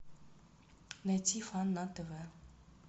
найти фан на тв